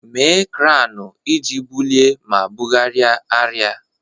Mee kranu iji bulie ma bugharịa arịa.